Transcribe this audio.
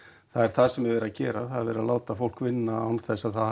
það er það sem verið er að gera það er verið að láta fólk vinna án þess að það